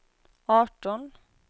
arton